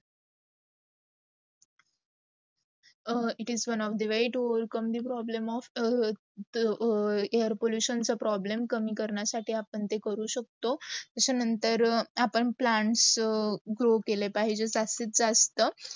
it is one of the very to overcome of the air pollution चे problem कमी करण्या साठी आपण ते करू शकतो. असा नंतर आपण plants grow केले पाहिजे जास्त, जस्था.